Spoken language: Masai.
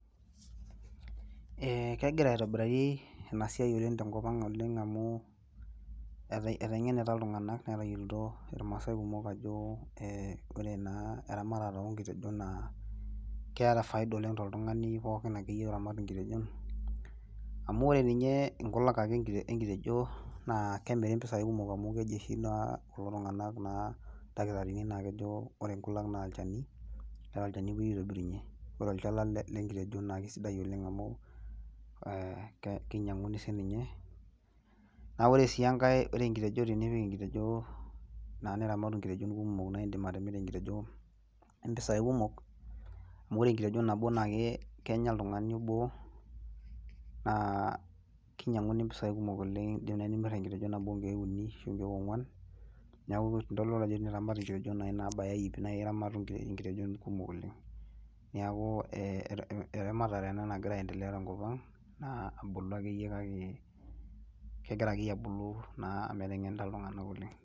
Kegira aitobiraari ena siai tenkopang oleng amu eteng'enita iltung'anak netayiolito irmaasai kumok ajo ore naa eramatare oo nkitejon naa keeta faida oleng toltung'ani pooki akeyie oramat inkitejon. Amu ore ninye inkulak ake enkitejo naa kemiru impesai kumok amu keji oshi naa kulo dakitarini ore nkulak naa olchani eeta olchani opwoi aitobirunye. Ore olchala lenkitejo naa sidai oleng amu kinyang'uni siininye. Naa ore sii enkae, ore enkitejo, tenipik enkitejo niramat inkitejon kumok naimirr impisai kumok amu ore enkitejo nabo naa kenya oltung'ani obo naa kinyang'uni mpisai kumok. Iindim naai nimirr enkitejo nabo nkiek uni ashu nkiek ong'wan. Neeku idol ajo teniramat inkitejon naabaya iip naa iramatu inkitejon kumok oleng. Neeku eramatare ena nagira aendelea tenkopang naa ebulu akeyie kake kegira akeyie abulu naa amu eteng'enita iltung'anak oleng